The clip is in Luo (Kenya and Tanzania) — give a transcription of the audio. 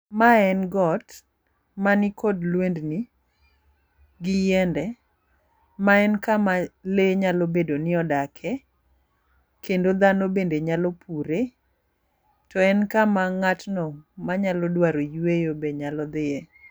Mae en got manikod lwendni gi yiende ma en kama lee nyalo bedo ni odake kendo dhano bende nyalo pure to en kama ng'atno manyalo dwaro yweyo be nyalo dhiye.